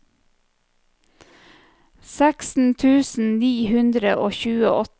seksten tusen ni hundre og tjueåtte